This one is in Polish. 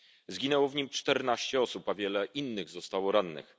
Zginęło w nim 14 osób, a wiele innych zostało rannych.